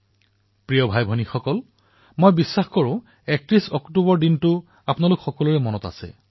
মোৰ মৰমৰ ভাতৃ আৰু ভগ্নীসকল মোৰ বিশ্বাস যে ৩১ অক্টোবৰ তাৰিখটো আপোনালোকৰ নিশ্চয় মনত আছে